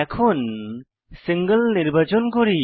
এখন সিঙ্গল নির্বাচন করি